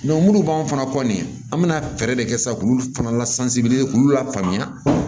minnu b'an fana kɔ nin an bɛna fɛɛrɛ de kɛ sisan k'olu fana lasansi k'u lafaamuya